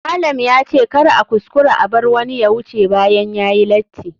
Malam ya ce kar a kuskura a bar wani ya wuce bayan yayi lati.